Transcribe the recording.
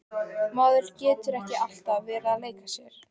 Maður getur ekki alltaf verið að leika sér.